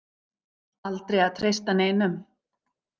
Aldrei að treysta neinum.